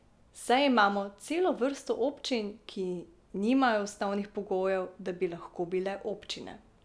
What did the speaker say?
Saj imamo celo vrsto občin, ki nimajo osnovnih pogojev, da bi lahko bile občine.